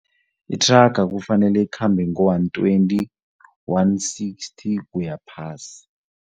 Ithraga kufanele ikhambe ngo-one twenty, one sixty kuya phasi.